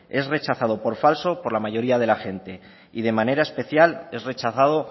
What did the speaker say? es rechazado por falso por la mayoría de la gente y de manera especial es rechazado